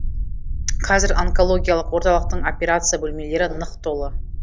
қазір онкологиялық орталықтың операция бөлмелері нық толы